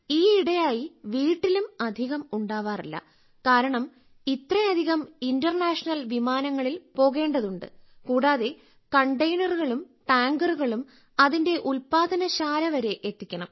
ഈയിടെയായി വീട്ടിലും അധികം ഉണ്ടാവാറില്ല കാരണം ഇത്രയധികം ഇന്റർനാഷണൽ വിമാനങ്ങളിൽ പോകേണ്ടതുണ്ട് കൂടാതെ കണ്ടെയ്നറുകളും ടാങ്കറുകളും അതിന്റെ ഉല്പാദനശാല വരെ എത്തിക്കണം